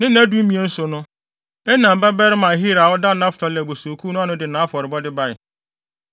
Ne nnadumien so no, Enan babarima Ahira a ɔda Naftali abusuakuw ano no de nʼafɔrebɔde bae.